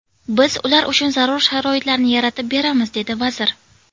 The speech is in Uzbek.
Biz ular uchun zarur sharoitlarni yaratib beramiz”, dedi vazir.